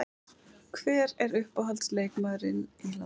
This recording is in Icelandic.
Hver er uppáhalds leikmaður í landsliðinu?